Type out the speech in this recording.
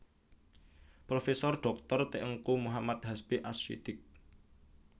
Profesor Dhoktor Teungku Muhammad Hasbi Ash Shiddieqy